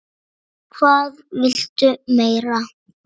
Hvað viltu meira?